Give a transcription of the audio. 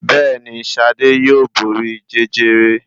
Bẹ́ẹ̀ni, Ṣadé yóò borí Jẹjẹrẹ.